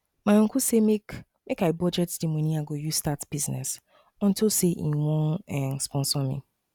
my uncle say make um i budget the money i go use start business unto say e wan um sponsor me